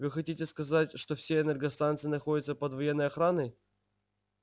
вы хотите сказать что все энергостанции находятся под военной охраной